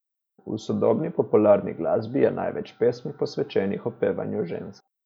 V sodobni popularni glasbi je največ pesmi posvečenih opevanju žensk.